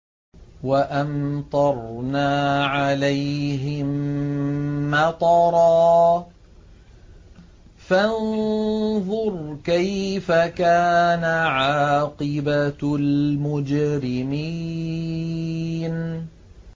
وَأَمْطَرْنَا عَلَيْهِم مَّطَرًا ۖ فَانظُرْ كَيْفَ كَانَ عَاقِبَةُ الْمُجْرِمِينَ